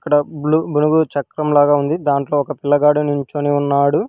అక్కడ బ్లూ బులుగు చక్రం లాగా ఉంది దాంట్లో ఒక పిల్లగాడు నించొని ఉన్నాడు.